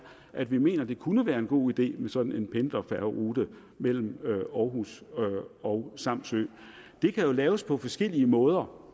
at vi mener at det kunne være en god idé med sådan en pendlerfærgerute mellem aarhus og samsø det kan jo laves på forskellige måder